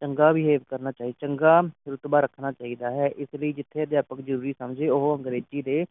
ਚੰਗਾ behave ਕਰਨਾ ਚੰਗਾ ਰੁਤਬਾ ਰੱਖਣਾ ਚਾਹੀਦਾ ਹੈ ਇਸ ਵਿਚ ਜਿਥੇ ਅਧਿਆਪਕ ਜਰੂਰੀ ਸਮਝੇ ਉਹ ਅੰਗਰੇਜ਼ੀ ਦੇ